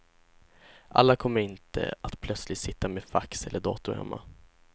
Alla kommer inte att plötsligt sitta med fax eller dator hemma.